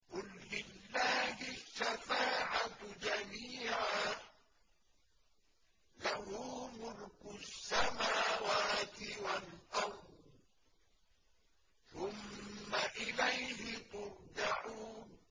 قُل لِّلَّهِ الشَّفَاعَةُ جَمِيعًا ۖ لَّهُ مُلْكُ السَّمَاوَاتِ وَالْأَرْضِ ۖ ثُمَّ إِلَيْهِ تُرْجَعُونَ